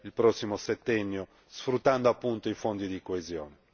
il prossimo settennio, sfruttando appunto i Fondi di coesione.